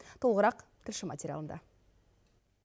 толығырақ тілші материалында